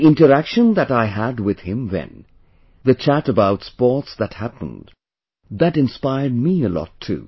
The interaction that I had with him then, the chat about sports that happened, that inspired me a lot too